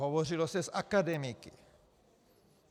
Hovořilo se s akademiky.